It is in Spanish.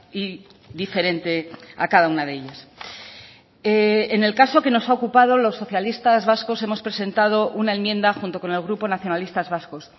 y diferente a cada una de ellas en el caso que nos ha ocupado los socialistas vascos hemos presentado una enmienda junto con el grupo nacionalistas vascos